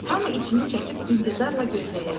Hamı içini çəkib intizarla gözləyirdi.